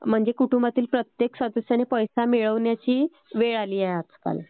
म्हणजे कुटुंबातील प्रत्येकाने पैसे मिळवण्याची वेळ आलेली आहे आजकाल